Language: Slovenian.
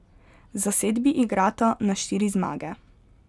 Zasedbi igrata na štiri zmage.